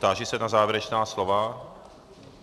Táži se na závěrečná slova.